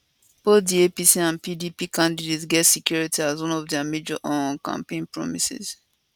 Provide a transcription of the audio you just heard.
both di apc and pdp candidates get security as one dia major um campaign promises